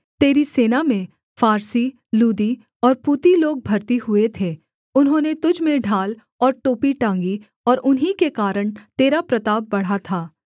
तेरी सेना में फारसी लूदी और पूती लोग भरती हुए थे उन्होंने तुझ में ढाल और टोपी टाँगी और उन्हीं के कारण तेरा प्रताप बढ़ा था